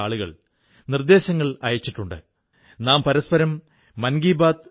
ഒഹാകായിൽ ഖാദി എങ്ങനെയെത്തി എന്നതും താത്പര്യമുണർത്തുന്ന കാര്യമാണ്